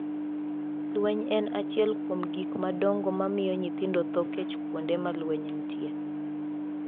Lweny en achiel kuom gik madongo mamiyo nyithindo tho kech kuonde ma lweny nitie.